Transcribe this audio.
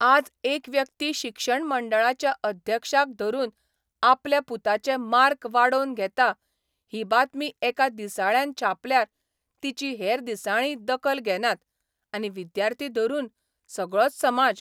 आज एक व्यक्ती शिक्षण मंडळाच्या अध्यक्षाक धरून आपल्या पुताचे मार्क वाडोवन घेता ही बातमी एका दिसाळ्यान छापल्यार तिची हेर दिसाळींय दखल घेनात आनी विद्यार्थी धरून सगळोच समाज.